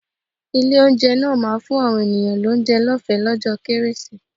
Ilé-oúnjẹ náà ma fún àwọn èèyàn lóúnjẹ lọ́ọ̀fẹ́ lọ́jọ́ kérésì.